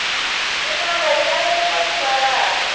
yin wana yi averiwa timaraka